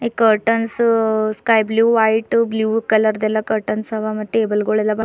curtains sky blue white blue colour ದೆಲ್ಲ curtains ಅವ ಮತ್ತೆ ಟೇಬಲ್ ಗುಳೆಲ್ಲ ಭಾಳ್--